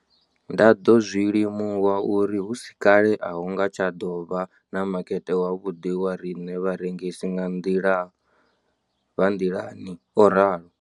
Ndo ḓo zwi limuwa uri hu si kale a hu nga tsha ḓo vha na makete wavhuḓi wa riṋe vharengisi vha nḓilani, o ralo.